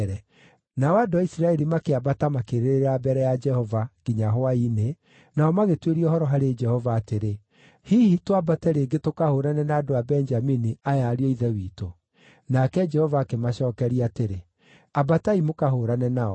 Nao andũ a Isiraeli makĩambata makĩrĩrĩra mbere ya Jehova nginya hwaĩ-inĩ, nao magĩtuĩria ũhoro harĩ Jehova atĩrĩ, “Hihi twambate rĩngĩ tũkahũũrane na andũ a Benjamini, aya ariũ a ithe witũ?” Nake Jehova akĩmacookeria atĩrĩ, “Ambatai mũkahũũrane nao.”